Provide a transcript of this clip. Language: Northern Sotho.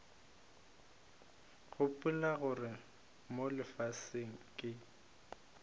gopola gore mo lefaseng ke